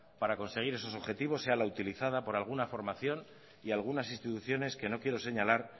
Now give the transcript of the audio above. para conseguir esos objetivos sea la utilizada por alguna formación y algunas instituciones que no quiero señalar